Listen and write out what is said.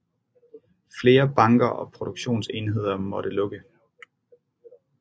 Flere banker og produktionsenheder måtte lukke